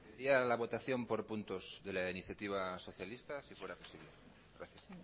la votación por puntos de la iniciativa socialista si fuera posible gracias